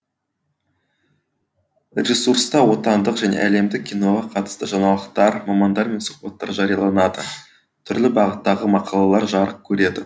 ресурста отандық және әлемдік киноға қатысты жаңалықтар мамандармен сұхбаттар жарияланады түрлі бағыттағы мақалалар жарық көреді